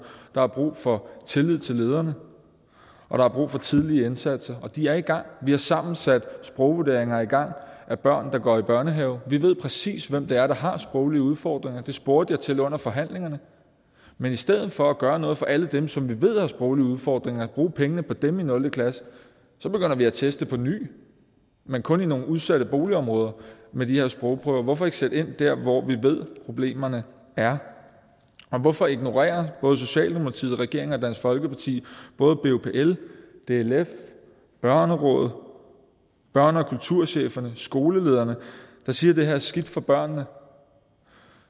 der er brug for tillid til lederne og der er brug for tidlige indsatser og de er i gang vi har sammen sat sprogvurderinger i gang af børn der går i børnehave vi ved præcis hvem det er der har sproglige udfordringer det spurgte jeg til under forhandlingerne men i stedet for at gøre noget for alle dem som vi ved har sproglige udfordringer og bruge pengene på dem i nul klasse så begynder vi at teste på ny men kun i nogle udsatte boligområder med de her sprogprøver hvorfor ikke sætte ind der hvor vi ved problemerne er og hvorfor ignorerer både socialdemokratiet regeringen og dansk folkeparti både bupl dlf børnerådet børne og kulturcheferne skolelederne der siger at det her er skidt for børnene